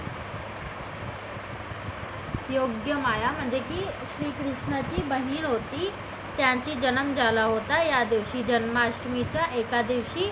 योग्य माया म्हणजे ती श्रीकृष्णाची बहीण होती त्याचा जनम झाला होता या दिवशी जन्माष्टमीच्या एका दिवशी